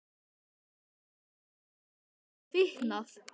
Skyldi Kata hafa fitnað?